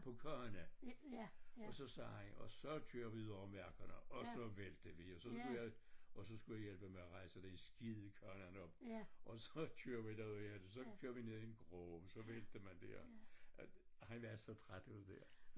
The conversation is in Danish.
På kørne og så sagde han og så kører vi ud over markerne og så væltede vi og så skulle jeg og så skulle jeg hjælpe med at rejse den skide kørner op og så kører vi derudaf så kører vi ned af i en grøft så vælter man dér han er så træt af det dér